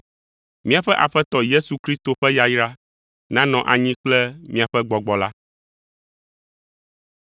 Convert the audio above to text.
Míaƒe Aƒetɔ Yesu Kristo ƒe yayra nanɔ anyi kple miaƒe gbɔgbɔ la.